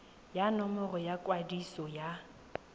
ya nomoro ya kwadiso ya